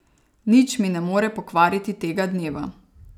Nič mi ne more pokvariti tega dneva.